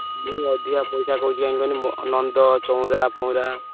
ମୁଁ ଅଧିକା ପଇସା କହୁଛି କାହିଁକି କୁହନି ନନ୍ଦ, ଚଉଁରା, ଫଉରା